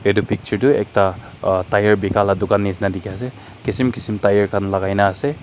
etu picture tu ekta uhh tyre bika la dukan nishina dekhi ase etu kisim kisim tyre khan lagai na ase.